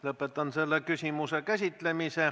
Lõpetan selle küsimuse käsitlemise.